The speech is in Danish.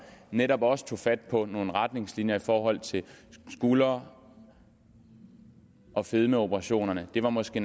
netop også tog fat på nogle retningslinjer i forhold til skulder og fedmeoperationerne det var måske